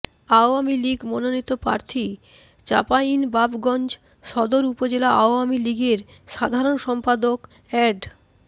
আওয়ামী লীগ মনোনীত প্রার্থী চাঁপাইনবাবগঞ্জ সদর উপজেলা আওয়ামী লীগের সাধারণ সম্পাদক অ্যাড